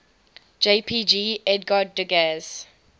jpg edgar degas